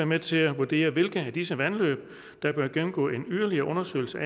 med til at vurdere hvilke af disse vandløb der bør gennemgå en yderligere undersøgelse